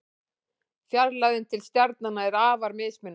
Fjarlægðin til stjarnanna er afar mismunandi.